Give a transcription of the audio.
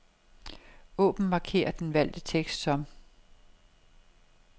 Åbn markér den valgte tekst som.